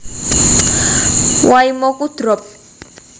Waimoku drop